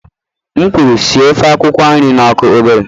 M kwuru sie ofe akwukwo nri na ọkụ obere!